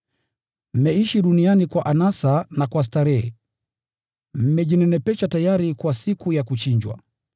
Mmeishi duniani kwa anasa na kwa starehe, mmejinenepesha tayari kwa siku ya kuchinjwa.